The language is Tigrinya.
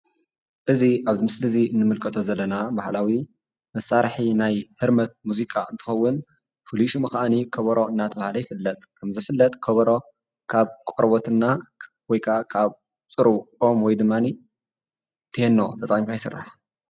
እዚ ኣብዚ ምስሊ እዚ ንምልከቶ ዘለና ባህላዊ መሳርሒ ናይ ህርመት ሙዚቃ እንትኸዉን ሽሙ ከኣኒ ከበሮ እናተብሃለ ይፍለጥ ከም ዝፍለጥ ከበሮ ካብ ቆርበት እና ወይ ከዓ ፅሩብ ኦም ወይ ድማኒ ቴኖ ተጠቂምካ ይስራሕ ።